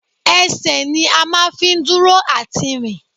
Ẹsẹ̀ ni a máa fi ń dúró àti rìn